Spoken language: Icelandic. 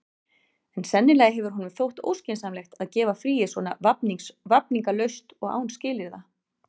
En sennilega hefur honum þótt óskynsamlegt að gefa fríið svona vafningalaust og án skilyrða.